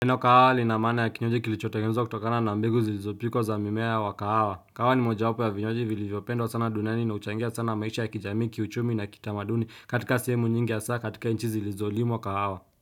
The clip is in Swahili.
Eno kahawali na mana ya kinyoje kilichotakemza kutokana na mbegu zilizopiko za mimea wa kahawa. Kahawa ni moja wapo ya vinyoje vili vyopendo sana duniani na uchangia sana maisha ya kijami, kiuchumi na kitamaduni katika semu nyingi ya saa katika inchi zilizolimo kahawa.